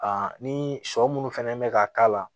ni sɔ munnu fɛnɛ mɛ ka k'a la